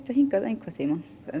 hingað einhvern tímann